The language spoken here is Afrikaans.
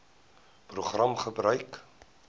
program gebruik